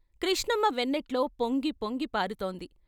కృష్ణమ్మ వెన్నెట్లో పొంగి పొంగి పారుతోంది.